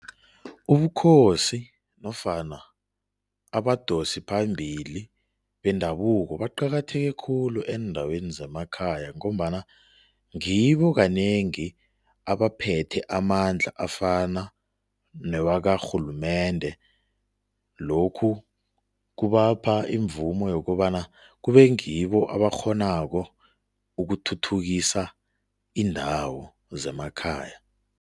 Ubukhosi nofana abadosiphambili bendabuko baqakatheke khulu eendaweni zemakhaya ngombana ngibo kanengi abaphethe amandla afana newakarhulumende. Lokhu kubapha imvumo yokobana kube ngibo abakghonako ukuthuthukisa iindawo zemakhaya.